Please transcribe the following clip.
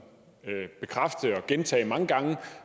bekræfte og gentage mange gange